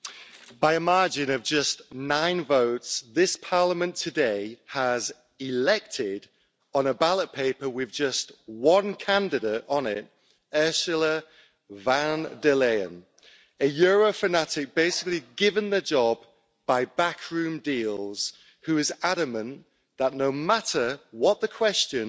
Mr President, by a margin of just nine votes, this Parliament today has elected, on a ballot paper with just one candidate on it, Ursula von der Leyen, a Euro fanatic basically given the job by backroom deals, who is adamant that no matter what the question,